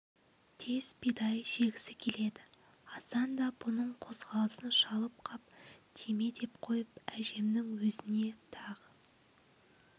тез бидай жегісі келеді асан да бұның қозғалысын шалып қап тиме деп қойып әжемнің өзіне тағы